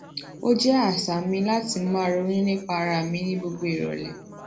o je àsà mi lati máa ronú nípa ara mi ni gbogbo irole